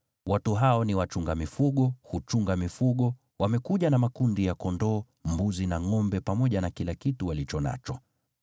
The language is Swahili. Watu hao ni wachunga mifugo, huchunga mifugo, wamekuja na makundi ya kondoo, mbuzi na ngʼombe pamoja na kila kitu walicho nacho.’